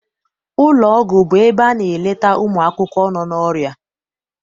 Ụlọ ọgwụ bụ ebe a na-eleta ụmụakwụkwọ nọ n'ọrịa.